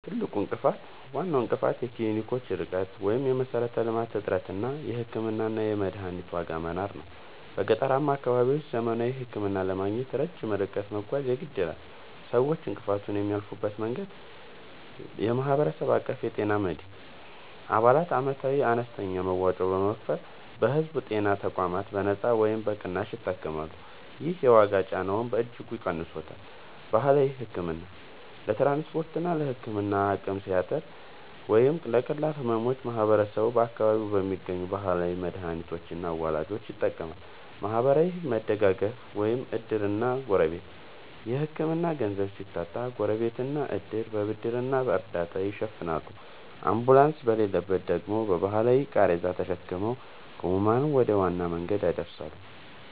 ትልቁ እንቅፋት፦ ዋናው እንቅፋት የክሊኒኮች ርቀት (የመሠረተ-ልማት እጥረት) እና የሕክምናና የመድኃኒት ዋጋ መናር ነው። በገጠራማ አካባቢዎች ዘመናዊ ሕክምና ለማግኘት ረጅም ርቀት መጓዝ የግድ ይላል። ሰዎች እንቅፋቱን የሚያልፉበት መንገድ፦ የማህበረሰብ አቀፍ የጤና መድን፦ አባላት ዓመታዊ አነስተኛ መዋጮ በመክፈል በሕዝብ ጤና ተቋማት በነጻ ወይም በቅናሽ ይታከማሉ። ይህ የዋጋ ጫናውን በእጅጉ ቀንሶታል። ባህላዊ ሕክምና፦ ለትራንስፖርትና ለሕክምና አቅም ሲያጥር ወይም ለቀላል ሕመሞች ማህበረሰቡ በአካባቢው በሚገኙ ባህላዊ መድኃኒቶችና አዋላጆች ይጠቀማል። ማህበራዊ መደጋገፍ (ዕድርና ጎረቤት)፦ የሕክምና ገንዘብ ሲታጣ ጎረቤትና ዕድር በብድርና በእርዳታ ይሸፍናሉ፤ አምቡላንስ በሌለበት ደግሞ በባህላዊ ቃሬዛ ተሸክመው ሕሙማንን ወደ ዋና መንገድ ያደርሳሉ።